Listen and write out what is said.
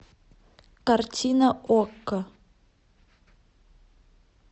картина окко